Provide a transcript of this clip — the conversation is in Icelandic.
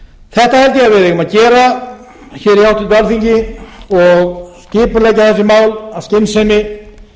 þetta held ég að við eigum að gera hér í háttvirtu alþingi og skipuleggja þessi mál af skynsemi